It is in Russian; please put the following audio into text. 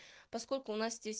поскольку у нас здесь